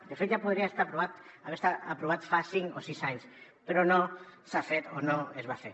de fet ja podria estar aprovat haver estat aprovat fa cinc o sis anys però no s’ha fet o no es va fer